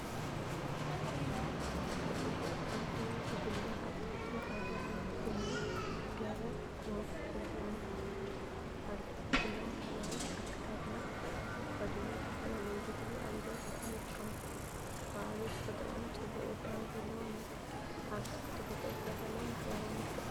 ብጽቡቕ ዝተወደበ ጉጅለ ኣብ ትሕቲ ሓደ ዓቢ ጕንዲ ገረብ ኮፍ ኢሉ ኣሎ። ኩሎም ባህላዊ ኣከዳድና ተኸዲኖም ዝተፈላለዩ በትሪ ኣብ ኢዶም ሒዞም ይርከቡ። እቲ ከባቢ ተፈጥሮኣውን ጽቡቕ ውዳበ ዘለዎን እዩ። ኣብ ትሕቲ ተፈጥሮ ዝተዳለወ ማሕበራዊ ምትእኽኻብ እዩ!